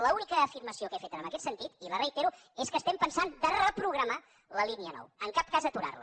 l’única afirmació que he fet en aquest sentit i la reitero és que estem pensant de reprogramar la línia nou en cap cas aturar la